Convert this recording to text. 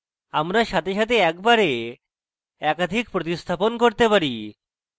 আমরা সাথে সাথে একবারে একাধিক প্রস্তিস্থাপণ করতে পারি